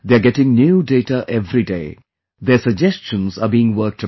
They are getting new data everyday , their suggestions are being worked upon